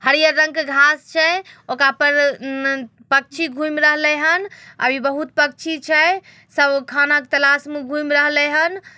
हरियर रंग के घास छे। ओकरा पर ऊ पक्षी घूम रहलेन हन यहाँ यह बहुत पक्षी छे सब खाना तलाश मे घुम रहलेंन हन।